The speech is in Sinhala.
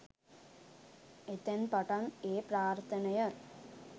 එතැන් පටන් ඒ ප්‍රාර්ථනය